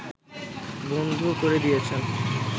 বন্ধ করে দিয়েছেন